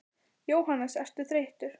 Jóhannes: Ertu þreyttur?